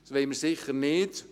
Das wollen wir sicher nicht.